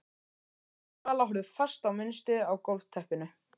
Stjáni og Vala horfðu fast á munstrið á gólfteppinu.